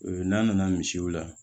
N'a nana misiw la